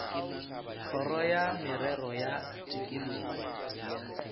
kgoro ya merero ya tikologo